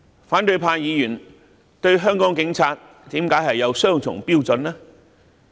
反對派議員對香港警察為何有雙重標準呢？